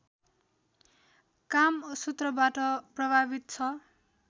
कामसूत्रबाट प्रभावित छ